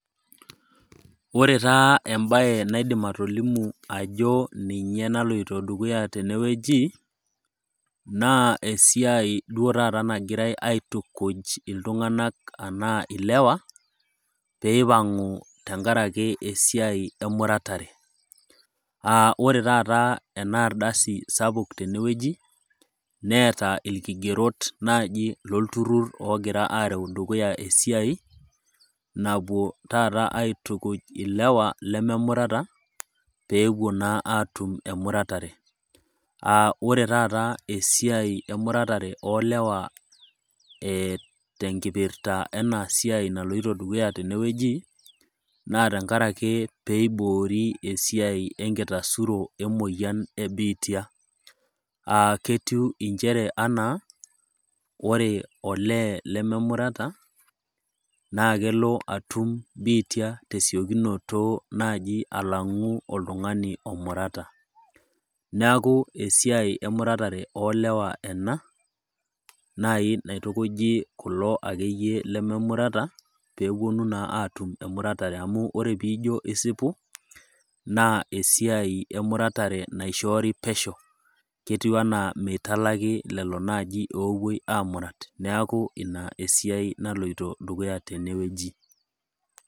Ore taa embaye naidim atolimu ajo ninye naloito dukuya tenewueji naa esiai nagirai duo tata aitukuj iltung'anak anaa ilewa peeipang'u tengarake esiai emuratare. [Aa] ore taata ena ardasi sapuk tenewueji neeta ilkigerot naji lolturrur oogira areu dukuya esiai napuo tata aitukuj ilewa lememurata peepuo naa aatum emuratare. [Aa] ore taata esiai emuratare oolewa eeh tenkipirta enasiai naloito dukuya tenewueji naa tengarake peeiboori esiai enkitasuro emoyan e biitia. [Aa] ketiu inchere anaa ore olee lememurata naa kelo atum biitia tesiokinoto naaji alang'u oltung'ani omurata. Neaku esiai emuratare oolewa ena nai naitukuji kulo akeyie lememurata peepuonu naa atum emuratare amu ore piijo isipu naa esiai emuratare naishoori pesho. Ketiu anaa meitalaki lelo naji oopuoi amurat. Neaku ina esiai naloito dukuya tenewueji.